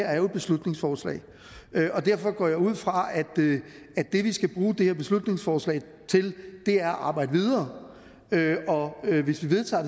er jo et beslutningsforslag og derfor går jeg ud fra at det vi skal bruge det her beslutningsforslag til er at arbejde videre og hvis vi vedtager